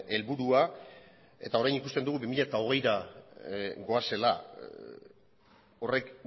helburua eta orain ikusten dugu bi mila hogeira goazela horrek